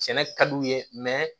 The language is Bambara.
Sɛnɛ ka d'u ye